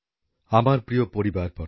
নতুন দিল্লি ২৪শে সেপ্টেম্বর ২০২৩